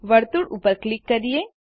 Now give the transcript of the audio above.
વર્તુળ ઉપર ક્લિક કરીએ